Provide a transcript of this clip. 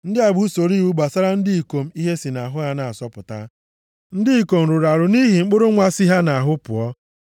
Ndị a bụ usoro iwu gbasara ndị ikom ihe si nʼahụ ha na-asọpụta, na ndị ikom rụrụ arụ nʼihi mkpụrụ nwa si ha nʼahụ pụọ.